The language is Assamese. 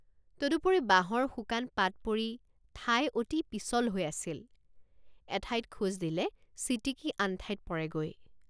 তদুপৰি বাঁহৰ শুকান পাত পৰি ঠাই অতি পিছল হৈ আছিল এঠাইত খোজ দিলে ছিটিকি আন ঠাইত পৰেগৈ।